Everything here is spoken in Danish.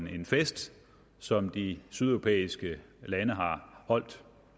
en fest som de sydeuropæiske lande har holdt